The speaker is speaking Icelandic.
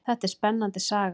Þetta er spennandi saga.